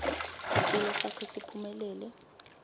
sicelo sakho siphumelele